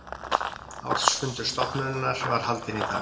Ársfundur stofnunarinnar var haldinn í dag